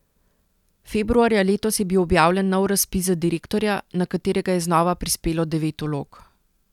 Februarja letos je bil objavljen nov razpis za direktorja, na katerega je znova prispelo devet vlog.